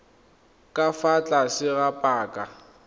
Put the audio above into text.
ka fa tlase ga paka